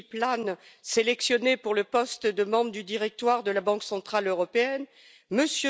Philip Lane, sélectionné pour le poste de membre du directoire de la Banque centrale européenne, M.